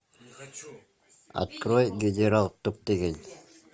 открой генерал топтыгин